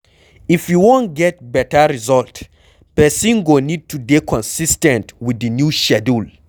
If you wan get better result, person go need to dey consis ten t with di new schedule